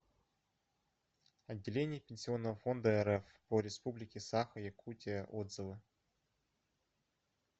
отделение пенсионного фонда рф по республике саха якутия отзывы